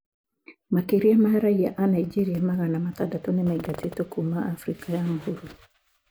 Makĩria ma raiya a Nigeria magana matandatũ nĩ maraingatwo kuuma Abirika ya Mũhuro.